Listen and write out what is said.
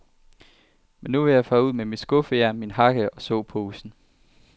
Men nu vil jeg fare ud med mit skuffejern, min hakke og såposen.